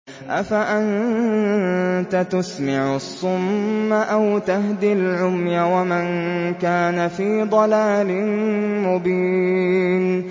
أَفَأَنتَ تُسْمِعُ الصُّمَّ أَوْ تَهْدِي الْعُمْيَ وَمَن كَانَ فِي ضَلَالٍ مُّبِينٍ